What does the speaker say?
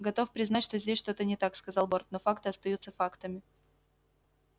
готов признать что здесь что-то не так сказал борт но факты остаются фактами